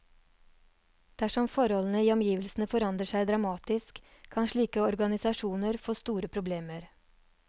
Dersom forholdene i omgivelsene forandrer seg dramatisk, kan slike organisasjoner få store problemer.